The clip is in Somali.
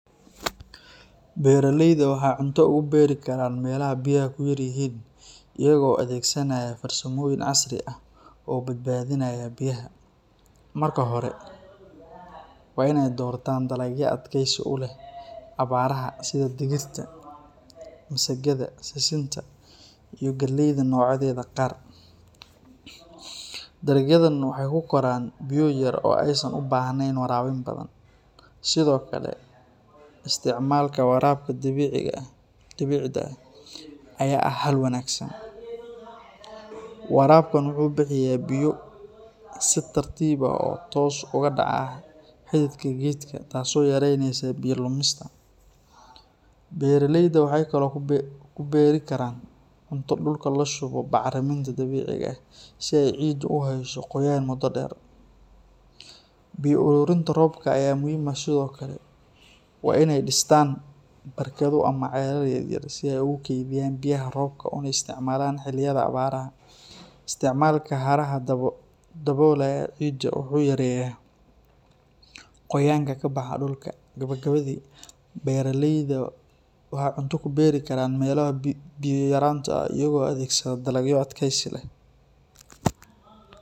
Beraleyda waxay cunto uga beeri karaan meelaha biyaha ku yaryihiin iyaga oo adeegsanaya farsamooyin casri ah oo badbaadinaya biyaha. Marka hore, waa inay doortaan dalagyo adkaysi u leh abaaraha sida digirta, masagada, sisinta iyo galleyda noocyadeeda qaar. Dalagyadan waxay ku koraan biyo yar oo aysan u baahnayn waraabin badan. Sidoo kale, isticmaalka waraabka dhibicda ah ayaa ah xal wanaagsan. Waraabkan wuxuu bixiyaa biyo si tartiib ah oo toos ugu dhaca xididka geedka taasoo yaraynaysa biyo lumista. Beraleyda waxay kaloo ku beeri karaan cunto dhulka la shubo bacriminta dabiiciga ah si ay ciiddu u hayso qoyaan muddo dheer. Biyo ururinta roobka ayaa muhiim ah sidoo kale. Waa inay dhistaan barkado ama ceelal yaryar si ay u kaydiyaan biyaha roobka una isticmaalaan xilliyada abaaraha. Isticmaalka haramaha daboolaya ciidda wuxuu yareeyaa qoyaanka ka baxa dhulka. Gabagabadii, beraleyda waxay cunto ku beeri karaan meelaha biyo yaraanta ah iyaga oo adeegsada dalagyo adkaysi leh.